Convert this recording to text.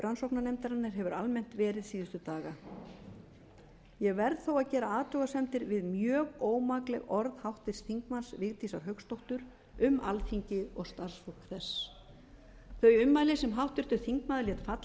rannsóknarnefndarinnar hefur almennt verið síðustu daga ég verð þó að gera athugasemdir við mjög ómakleg orð háttvirts þingmanns vigdísar hauksdóttur um alþingi og starfsfólk þess þau ummæli sem háttvirtur þingmaður lét falla í